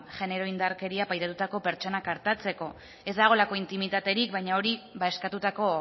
genero indarkeria paratutako pertsonak artatzeko ez dagoelako intimitaterik baina hori eskatutako